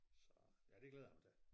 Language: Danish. Så ja det glæder jeg mig til